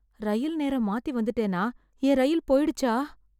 ரயில் நேரம் மாத்தி வந்துட்டேனா, என் ரயில் போய்டுச்சா?